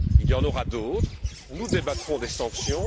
Il y en aura d'autres, nous débattrons des sanctions.